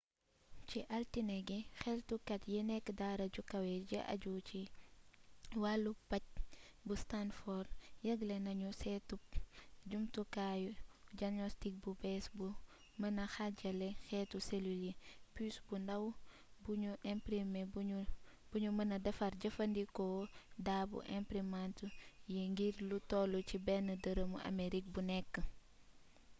ci altine gi xeltukat yi nekk daara ju kawe ji di ajju ci wàllu paj bu stanford yëgle nañu seetub jumtukayu jagnostik bu bées bu mëna xaajale xeeti selul yi pus bu ndaw bu nu imprme bu nu mëna defar jëfandikoo daa bu imprimant yi ngir lu toll ci benn dërëmu amerig bu nekk